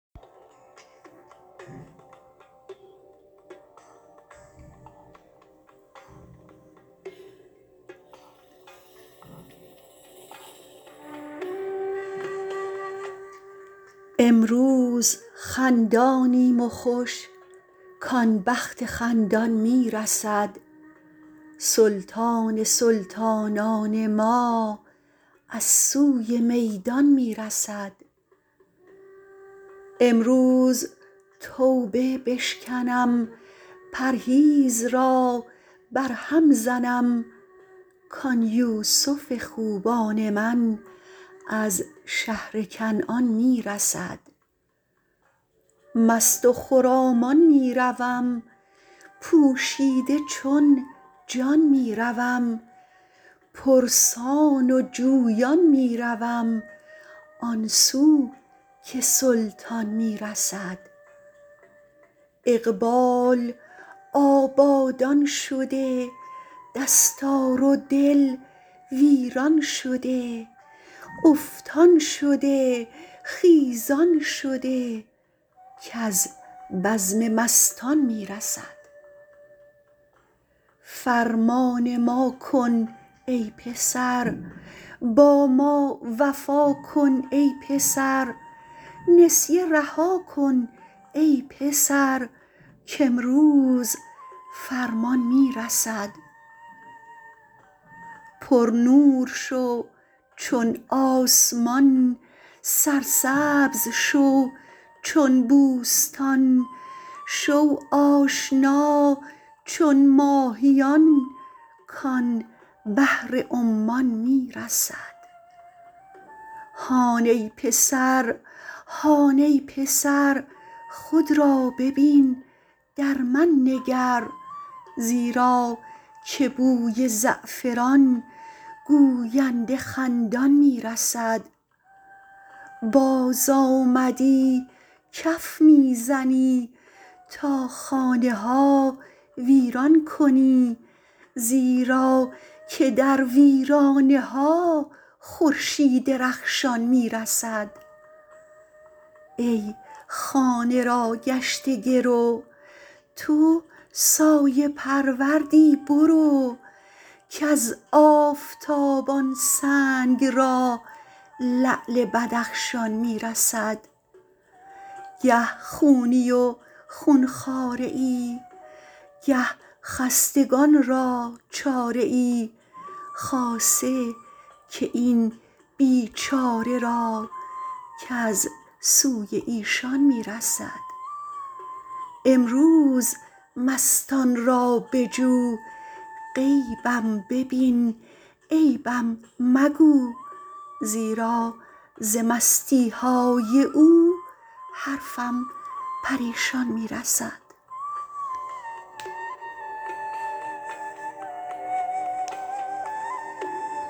امروز خندانیم و خوش کان بخت خندان می رسد سلطان سلطانان ما از سوی میدان می رسد امروز توبه بشکنم پرهیز را برهم زنم کان یوسف خوبان من از شهر کنعان می رسد مست و خرامان می روم پوشیده چون جان می روم پرسان و جویان می روم آن سو که سلطان می رسد اقبال آبادان شده دستار دل ویران شده افتان شده خیزان شده کز بزم مستان می رسد فرمان ما کن ای پسر با ما وفا کن ای پسر نسیه رها کن ای پسر کامروز فرمان می رسد پرنور شو چون آسمان سرسبزه شو چون بوستان شو آشنا چون ماهیان کان بحر عمان می رسد هان ای پسر هان ای پسر خود را ببین در من نگر زیرا ز بوی زعفران گوینده خندان می رسد بازآمدی کف می زنی تا خانه ها ویران کنی زیرا که در ویرانه ها خورشید رخشان می رسد ای خانه را گشته گرو تو سایه پروردی برو کز آفتاب آن سنگ را لعل بدخشان می رسد گه خونی و خون خواره ای گه خستگان را چاره ای خاصه که این بیچاره را کز سوی ایشان می رسد امروز مستان را بجو غیبم ببین عیبم مگو زیرا ز مستی های او حرفم پریشان می رسد